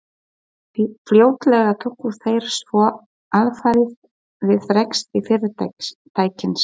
Fljótlega tóku þeir svo alfarið við rekstri fyrirtækisins.